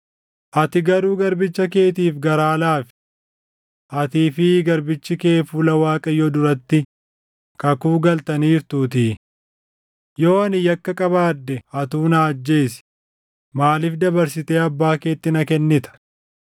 Ati garuu garbicha keetiif garaa laafi. Atii fi garbichi kee fuula Waaqayyoo duratti kakuu galtaniirtuutii. Yoo ani yakka qabaadhe atuu na ajjeesi! Maaliif dabarsitee abbaa keetti na kennita?”